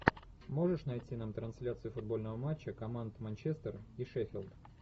можешь найти нам трансляцию футбольного матча команд манчестер и шеффилд